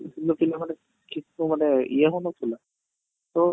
କିନ୍ତୁ ପିଲାମାନେ ମାନେ ଇଏ ହଉ ନ ଥିଲା ତ